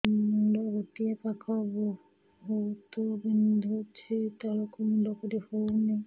ମୁଣ୍ଡ ଗୋଟିଏ ପାଖ ବହୁତୁ ବିନ୍ଧୁଛି ତଳକୁ ମୁଣ୍ଡ କରି ହଉନି